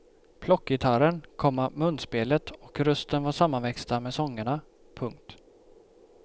Plockgitarren, komma munspelet och rösten var sammanväxta med sångerna. punkt